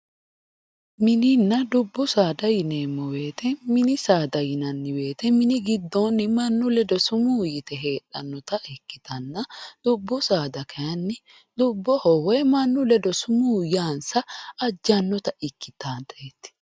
Minina dubbu saada yineemo woyite mini saada yinani woyite mini gidooni mannu ledo sumuu yite heedhanota ikitana dubbu saada kayini dubboho manu ledo sumuu yaa ajate ikitata yaateti